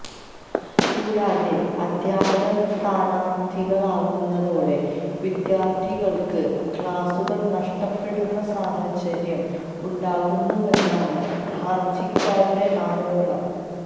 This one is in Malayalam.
കൂടാതെ അധ്യാപകര് സ്ഥാനാര്ത്ഥികളാകുന്നതോടെ വിദ്യാര്ത്ഥികള്ക്ക് ക്ലാസുകള് നഷ്ടപ്പെടുന്ന സാഹചര്യം ഉണ്ടാകുന്നുവെന്നാണ് ഹര്ജിക്കാരുടെ ആരോപണം